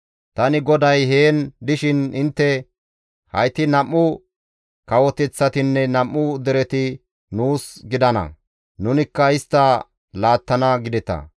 «Tani GODAY heen dishin intte, ‹Hayti nam7u kawoteththatinne nam7u dereti nuus gidana; nunikka istta laattana› gideta.